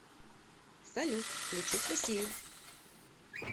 салют включить россию